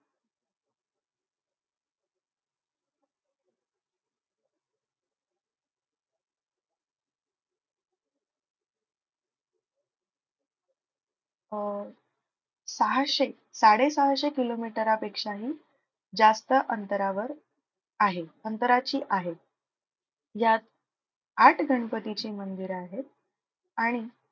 अह सहाशे साडे सहाशे किलोमीटरापेक्षाही जास्त अंतरावर आहे. अंतराची आहे. यात आठ गणपतीची मंदिरं आहेत आणि